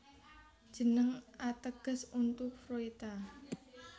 Jeneng ateges untu Fruita